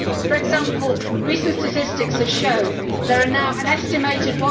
For example, recent statistics have shown there are now an estimated